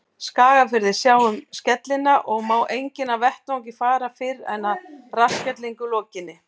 Skagafirði, sjá um skellina, og má enginn af vettvangi fara fyrr en að rassskellingu lokinni.